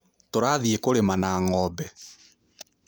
Tũrathiĩ kũrĩma na ng'ombe.